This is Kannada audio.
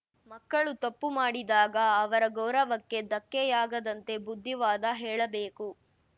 ಮಕ್ಕಳು ತಪ್ಪು ಮಾಡಿದಾಗ ಅವರ ಗೌರವಕ್ಕೆ ಧಕ್ಕೆಯಾಗದಂತೆ ಬುದ್ಧಿವಾದ ಹೇಳಬೇಕು